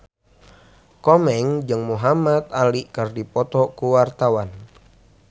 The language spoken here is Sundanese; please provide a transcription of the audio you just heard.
Komeng jeung Muhamad Ali keur dipoto ku wartawan